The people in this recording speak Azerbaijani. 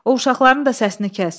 O uşaqların da səsini kəs.